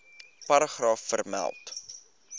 paragraaf vermeld